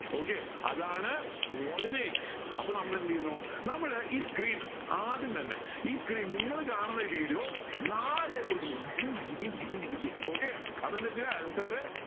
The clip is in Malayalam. okay അതാണ് coordinates അപ്പൊ നമ്മൾ എന്ത് ചെയുന്നു നമ്മൾ ഈ screen ആദ്യംതന്നെ ഈ screen നിങ്ങൾ കാണുന്ന video നാലായി മുറിക്കുന്നു okay അപ്പൊ എന്താ ചെയ അലൻ sir